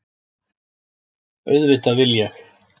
Auðvitað vil ég!